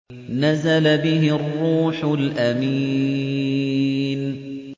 نَزَلَ بِهِ الرُّوحُ الْأَمِينُ